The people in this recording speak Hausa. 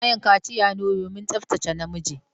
Ana yin kaciya ne domin tsabtace namiji.